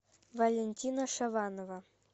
валентина шаванова